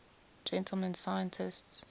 gentleman scientists